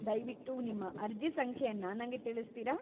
ದಯ್ವಿಟ್ಟು ನಿಮ್ಮ ಅರ್ಜಿ ಸಂಖ್ಯೆಯನ್ನ ನಂಗೆ ತಿಳಿಸ್ತೀರಾ?